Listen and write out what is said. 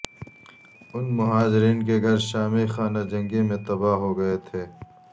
ان مہاجرین کے گھر شامی خانہ جنگی میں تباہ ہو گئے تھے